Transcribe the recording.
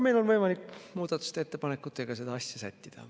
Meil on võimalik muudatusettepanekutega seda asja sättida.